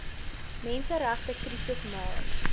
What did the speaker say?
menseregte krisis maar